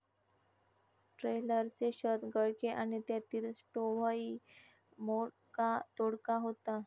ट्रेलरचे छत गळके आणि त्यातील स्टोव्हही मोडकातोडका होता.